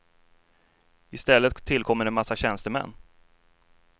I stället tillkommer en massa tjänstemän.